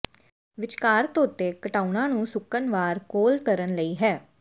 ਵਿਚਕਾਰ ਧੋਤੇ ਘਟਾਓਣਾ ਨੂੰ ਸੁੱਕਣ ਵਾਰ ਕੋਲ ਕਰਨ ਲਈ ਹੈ